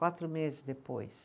Quatro meses depois.